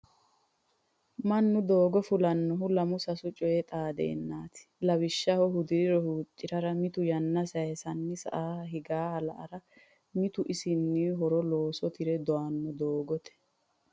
Mannu doogo fullanohu lamu sasu coyi xaadennati lawishshaho hudiriro huuccirara mitu yanna sayisani sa"aha higaha la"ara mitu isinni horo looso tire doyano doogote.